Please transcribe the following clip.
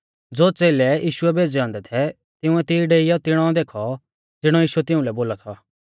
ज़ो च़ेलै यीशुऐ भेज़ै औन्दै थै तिंउऐ तिऐ डेइयौ तिणौ देखौ ज़िणौ यीशुऐ तिउंलै बोलौ थौ